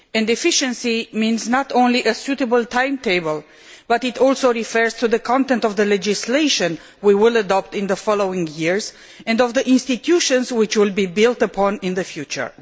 Efficiency means not only a suitable timetable, but it also refers to the content of the legislation that we will adopt in the coming years and to the institutions that will be built upon in the future.